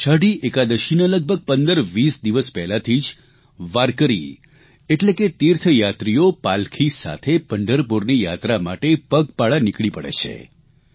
અષાઢી એકાદશીના લગભગ 15 20 દિવસ પહેલાથી જ વાર્કરી એટલે કે તીર્થયાત્રીઓ પાલખી સાથે પંઢરપુરની યાત્રા માટે પગપાળા નીકળી પડે છે